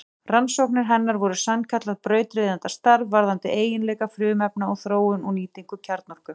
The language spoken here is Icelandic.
Rannsóknir hennar voru sannkallað brautryðjendastarf varðandi eiginleika frumefna og þróun og nýtingu kjarnorku.